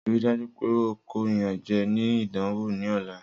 Rii daju pe o ko iyanjẹ ni idanwo ni ọla!